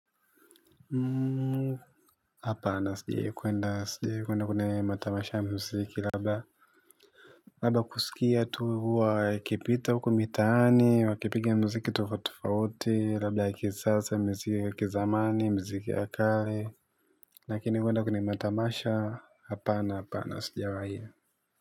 Muuu. Hapana sijai kuenda sijai kuenda kune matamasha ya mziki. Rabda raba kusikia tu huwa wakipita wukumitaani wakipiga mziki tufutufauti. Rabda ya kisasa ya mziki ya kizamani ya mziki ya kale. Lakini kuenda kwene matamasha hapana hapana sijawai hiyo.